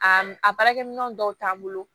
A a baarakɛminɛn dɔw t'an bolo